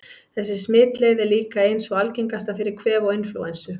Þessi smitleið er líka ein sú algengasta fyrir kvef og inflúensu.